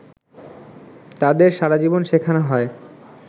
তাদের সারাজীবন শেখানো হয়